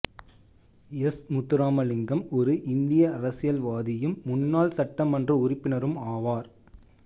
S Muthuramalingam ஒரு இந்திய அரசியல்வாதியும் முன்னாள் சட்டமன்ற உறுப்பினரும் ஆவார்